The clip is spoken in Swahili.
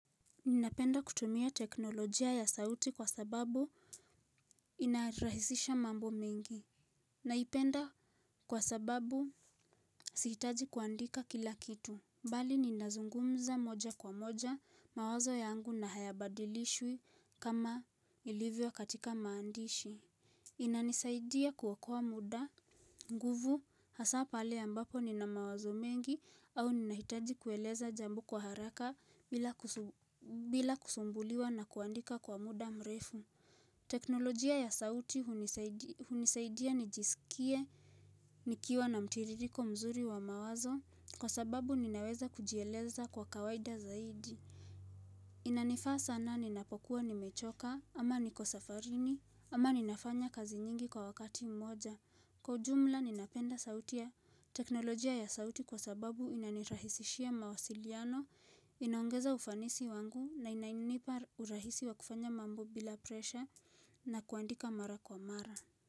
Ninapenda kutumia teknolojia ya sauti kwa sababu inarahisisha mambo mengi Naipenda kwa sababu sihitaji kuandika kila kitu bali ninazungumza moja kwa moja mawazo yangu na hayabadilishwi kama ilivyo katika maandishi inanisaidia kuokoa muda, nguvu hasa pale ambapo nina mawazo mengi au ninahitaji kueleza jambo kwa haraka bila, bila kusumbuliwa na kuandika kwa muda mrefu. Teknolojia ya sauti hunisaidia nijisikie nikiwa na mtiririko mzuri wa mawazo kwa sababu ninaweza kujieleza kwa kawaida zaidi. Inanifaa sana ninapokuwa nimechoka ama niko safarini ama ninafanya kazi nyingi kwa wakati mmoja Kwa ujumla ninapenda sauti ya teknolojia ya sauti kwa sababu inanirahisishia mawasiliano Inaongeza ufanisi wangu na inanipa urahisi wa kufanya mambo bila presha na kuandika mara kwa mara.